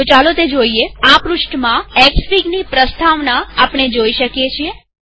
ચાલો તે જોઈએઆ પૃષ્ઠમાં એક્સફીગની પ્રસ્તાવના આપણે જોઈ શકીએ છીએ